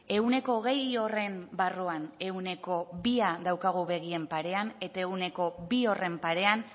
ehuneko hogei horren barruan ehuneko bia daukagu begien parean eta ehuneko bi horren parean